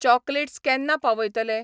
Chocolates केन्ना पावयतले?